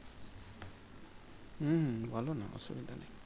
হুম্ বলোনা অসুবিধা নেই।